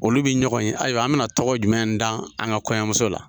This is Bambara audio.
Olu bi ɲɔgɔn ye ayiwa an bi na tɔgɔ jumɛn dan an ka kɔɲɔmuso la